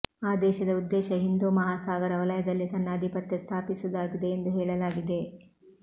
ಆ ದೇಶದ ಉದ್ದೇಶ ಹಿಂದು ಮಹಾಸಾಗರ ವಲಯದಲ್ಲಿ ತನ್ನ ಅಧಿಪತ್ಯ ಸ್ಥಾಪಿಸುವುದಾಗಿದೆ ಎಂದು ಹೇಳಲಾಗಿದೆ